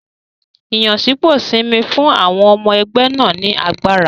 Ìyànsípò Simi fún àwọn ọmọ ẹgbẹ́ náà ní agbára.